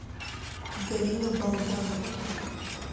галина болданова